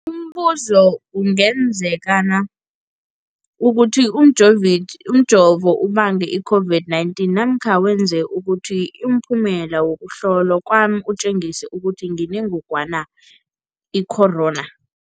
Umbuzo, kungenzekana ukuthi umjovo ubange i-COVID-19 namkha wenze ukuthi umphumela wokuhlolwa kwami utjengise ukuthi nginengogwana i-corona?